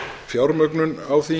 fjármögnun á því